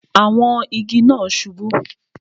Àwọn igi náà subú